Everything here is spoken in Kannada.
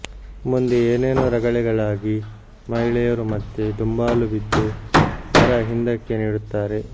ಮುಂದೆ ಏನೇನೋ ರಗಳೆಗಳಾಗಿ ಮಹಿಳೆಯರು ಮತ್ತೆ ದುಂಬಾಲು ಬಿದ್ದು ವರ ಹಿಂದಕ್ಕೆ ನೀಡುತ್ತಾರೆ